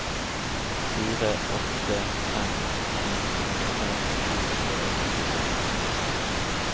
fire åtte fem en femtifem sju hundre og syttitre